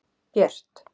Björt